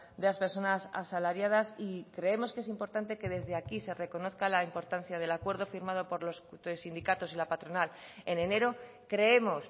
de las personas asalariadas y creemos que es importante que desde aquí se reconozca la importancia del acuerdo firmado por los sindicatos y la patronal en enero creemos